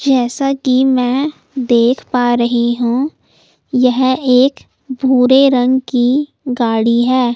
जैसा कि मैं देख पा रही हूं यह एक भूरे रंग की गाड़ी है।